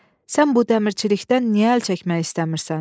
Sən bu dəmirçilikdən niyə əl çəkmək istəmirsən?